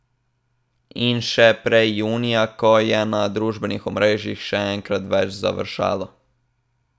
In še prej junija, ko je na družbenih omrežjih še enkrat več završalo.